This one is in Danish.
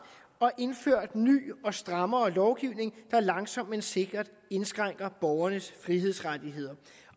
har indført ny og strammere lovgivning der langsomt men sikkert indskrænker borgernes frihedsrettigheder